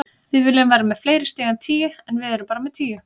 Við viljum vera með fleiri stig en tíu, en við erum bara með tíu.